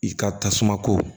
I ka tasuma ko